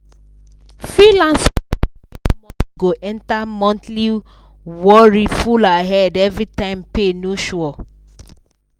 freelancer no sabi how much go enter monthlyworry full her head everytime pay no sure.